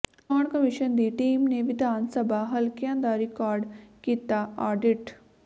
ਚੋਣ ਕਮਿਸ਼ਨ ਦੀ ਟੀਮ ਨੇ ਵਿਧਾਨ ਸਭਾ ਹਲਕਿਆਂ ਦਾ ਰਿਕਾਰਡ ਕੀਤਾ ਆਡਿਟ